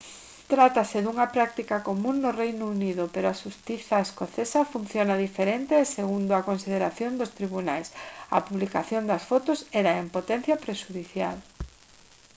trátase dunha práctica común no reino unido pero a xustiza escocesa funciona diferente e segundo a consideración dos tribunais a publicación das fotos era en potencia prexudicial